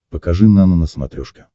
покажи нано на смотрешке